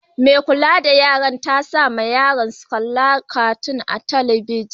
Mai kulla da yaran ta sa ma yaran katun su kalla a'telibijin.